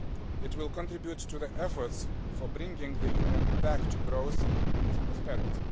It will contribute to the efforts for bringing the Union back to growth and prosperity.